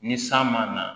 Ni san ma na